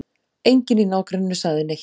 Enginn í nágrenninu sagði neitt.